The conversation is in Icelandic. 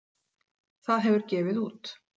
Það hefur gefið út